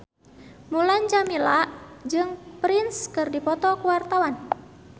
Mulan Jameela jeung Prince keur dipoto ku wartawan